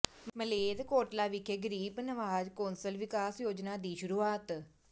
ਮਲੇਰਕੋਟਲਾ ਵਿਖੇ ਗਰੀਬ ਨਵਾਜ ਕੌਂਸਲ ਵਿਕਾਸ ਯੋਜਨਾ ਦੀ ਸ਼ੁਰੂਆਤ